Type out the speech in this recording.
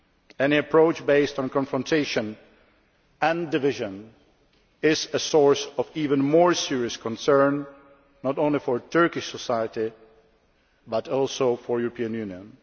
Any approach based on confrontation and division is a source of even more serious concern, not only for Turkish society but also for the European Union.